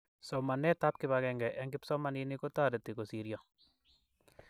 somanet ap kipakenge eng kipsomaninik kotareti kosiryo